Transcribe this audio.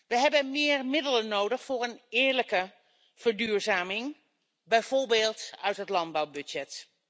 We hebben meer middelen nodig voor een eerlijke verduurzaming, bijvoorbeeld uit het landbouwbudget.